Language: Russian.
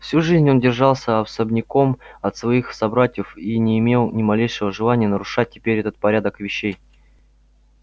всю жизнь он держался особняком от своих собратьев и не имел ни малейшего желания нарушать теперь этот порядок вещей